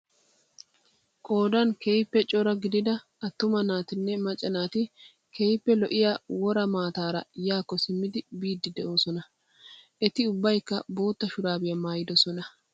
Qoodan keehippe coraa gidida attuma naatinne macca naati keehippe lo''iyaa woraa maataara yaakko simmidi biiddi doosona. Eti ubbayikka bootta shuraabiya maayyidosonaa.